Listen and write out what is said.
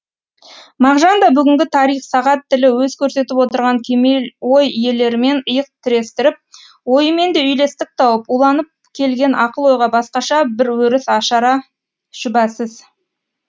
мағжан да бүгінгі тарих сағат тілі өз көрсетіп отырған кемел ой иелерімен иық тірестіріп ойымен де үйлестік тауып уланып келген ақыл ойға басқаша бір өріс ашары шүбәсіз